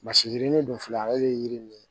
Masi yirinin dun filɛ ale bɛ yiri nin ye